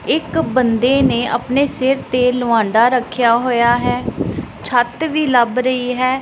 ਇੱਕ ਬੰਦੇ ਨੇ ਆਪਣੇ ਸਿਰ ਤੇ ਲਵਾਂਡਾ ਰੱਖਿਆ ਹੋਇਆ ਹੈ ਛੱਤ ਵੀ ਲੱਭ ਰਹੀ ਹੈ।